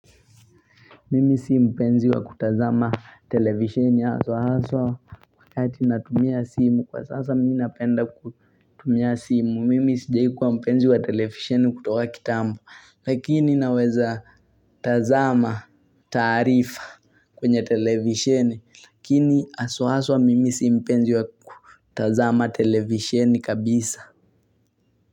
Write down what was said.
Mimi si mpenzi wa kutazama televisheni aso aso Kwa kati natumia simu kwa sasa minapenda kutumia simu Mimi sijaikuwa mpenzi wa televisheni kutoka kitambo Lakini naweza tazama taarifa kwenye televisheni Lakini haswa hasw mimi si mpenzi wa kutazama televisheni kabisa.